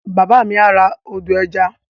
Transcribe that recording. Bàbá mi á ra ọdọ̀-ẹja